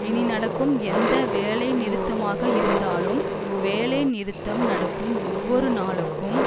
இனி நடக்கும் எந்த வேலைநிறுத்தமாக இருந்தாலும் வேலைநிறுத்தம் நடக்கும் ஒவ்வொரு நாளுக்கும்